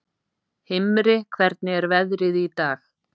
Himri, hvernig er veðrið í dag?